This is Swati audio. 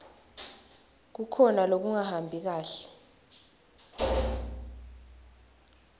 kukhona lokungahambi kahle